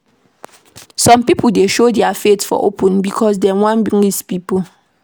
Some pipo dey show their faith for open because dey wan please pipo.